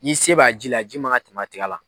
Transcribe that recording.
Ni se b'a ji la a ji man kan ka